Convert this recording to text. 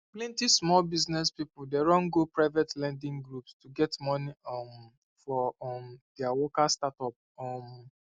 plenty small business people dey run go private lending groups to get money um for um their worker startup um